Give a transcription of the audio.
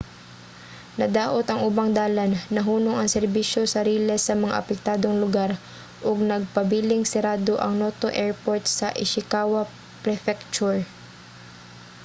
nadaot ang ubang dalan nahunong ang serbisyo sa riles sa mga apektadong lugar ug nagpabiling sirado ang noto airport sa ishikawa prefecture